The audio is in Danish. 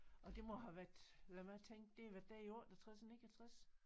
Og det må have været lad mig tænke det har været der i 68 69